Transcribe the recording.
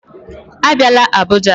Abịala Abuja